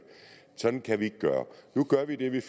sådan kan vi ikke gøre nu gør vi det at vi